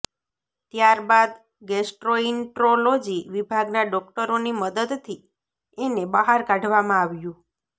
ત્યારબાદ ગેસ્ટ્રોઈન્ટ્રોલોજી વિભાગના ડોક્ટરોની મદદથી એને બહાર કાઢવામાં આવ્યું